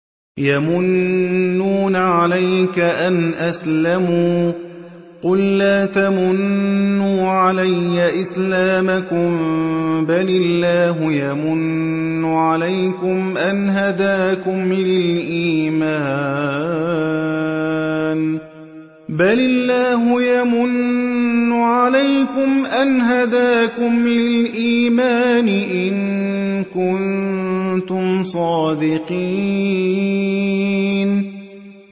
يَمُنُّونَ عَلَيْكَ أَنْ أَسْلَمُوا ۖ قُل لَّا تَمُنُّوا عَلَيَّ إِسْلَامَكُم ۖ بَلِ اللَّهُ يَمُنُّ عَلَيْكُمْ أَنْ هَدَاكُمْ لِلْإِيمَانِ إِن كُنتُمْ صَادِقِينَ